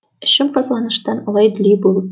ішім қызғаныштан алай дүлей болып